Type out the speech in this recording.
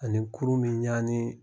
A ni kurun be ɲani